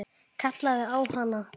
Kallaði á hana.